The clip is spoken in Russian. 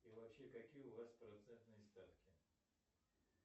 и вообще какие у вас процентные ставки